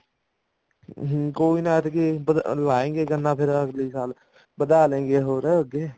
ਕੋਈ ਨੀ ਐਤਕੀ ਲਾਏੰਗੇ ਗੰਨਾ ਫ਼ੇਰ ਅਗਲੇ ਸਾਲ ਵਧਾ ਲੇਂਗੇ ਹੋਰ ਅੱਗੇ